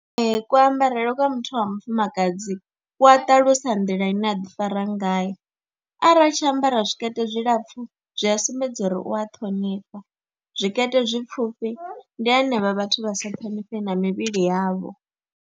Ee, kuambarele kwa muthu wa mufumakadzi ku a ṱalusa nḓila ine a ḓifara ngayo, arali tshi ambara zwikete zwilapfhu zwi a sumbedza uri u a ṱhonifha, zwikete zwipfhufhi ndi hanevha vhathu vha sa thonifhi na mivhili yavho.